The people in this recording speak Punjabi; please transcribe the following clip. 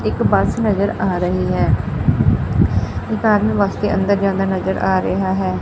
ਇੱਕ ਬੱਸ ਨਜਰ ਆ ਰਹੀ ਹੈ ਇੱਕ ਆਦਮੀ ਬੱਸ ਕੇ ਅੰਦਰ ਜਾਂਦਾ ਨਜਰ ਆ ਰਿਹਾ ਹੈ।